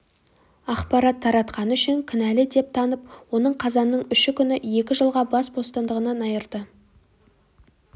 ақпарат таратқаны үшін кінәлі деп танып оны қазанның үші күні екі жылға бас бостандығынан айыырды